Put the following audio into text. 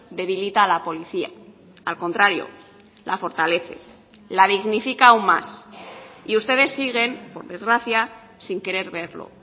debilita a la policía al contrario la fortalece la dignifica aún más y ustedes siguen por desgracia sin querer verlo